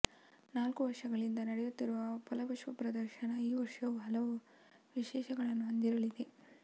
ನಾಲ್ಕು ವರ್ಷಗಳಿಂದ ನಡೆಯುತ್ತಿರುವ ಫಲಪುಷ್ಪಪ್ರದರ್ಶನ ಈ ವರ್ಷವೂ ಹಲವು ವಿಶೇಷಗಳನ್ನು ಹೊಂದಿರಲಿದೆ